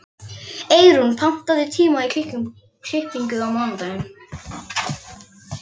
Eyrún, pantaðu tíma í klippingu á mánudaginn.